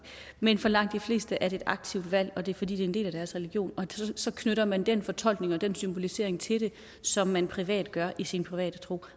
men for langt de fleste er det et aktivt valg og det er fordi det er en del af deres religion og så knytter man den fortolkning og den symbolisering til det som man privat gør i sin private tro